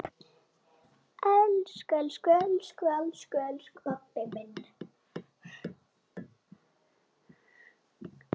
Elsku pabbi minn!